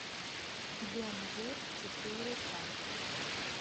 бен гур четыре ка